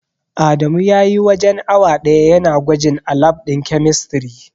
Adamu spent almost an hour testing at the chemistry lab.